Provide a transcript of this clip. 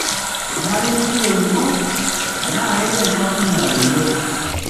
Kenare negili olning'o tenaa kegira enkampuni adoyio.